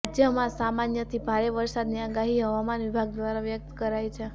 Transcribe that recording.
રાજ્યમાં સામાન્યથી ભારે વરસાદની આગાહી હવામાન વિભાગ દ્વારા વ્યક્ત કરાઈ છે